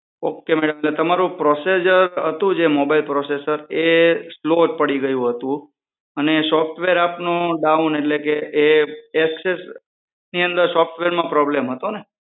Ok madam એટલે તમારું process જે હતું તમારું મોબાઈલ processor એ સ્લો જ પડી ગયું હતું હા સોફ્ટવેર આપનું ડાઉન એટલે કે એ એક્સેસની અંદર સોફ્ટવેરમાં problem હતો ને